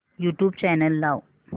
YouTube channel लाव